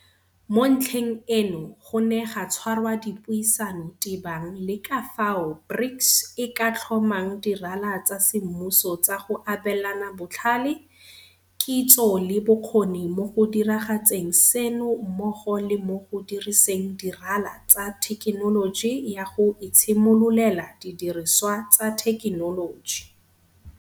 Mo ntlheng eno go ne ga tshwarwa dipuisano tebang le ka fao BRICS e ka tlhomang dirala tsa semmuso tsa go abelana botlhale, kitso le bokgoni mo go diragatseng seno mmogo le mo go diriseng dirala tsa thekenoloji ya go itshimololela didirisiwa tsa thekenoloji.